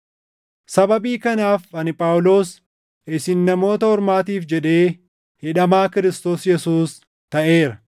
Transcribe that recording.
Sababii kanaaf ani Phaawulos isin Namoota Ormaatiif jedhee hidhamaa Kiristoos Yesuus taʼeera.